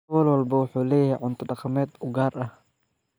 Gobol walba wuxuu leeyahay cunto dhaqameed u gaar ah.